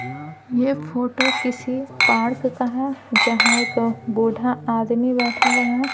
ये फोटो किसी पार्क का हैजहाँ एक बूढ़ा आदमी बैठा हुआ है।